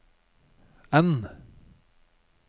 N